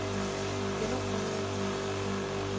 genopringning